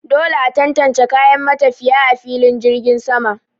Dole a tantance kayan matafiya a filin jirgin sama.